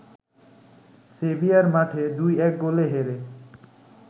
severe মাঠে ২-১ গোলে হেরে